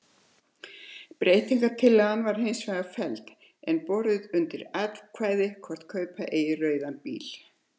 Ef breytingatillagan var hins vegar felld er borið undir atkvæði hvort kaupa eigi rauðan bíl.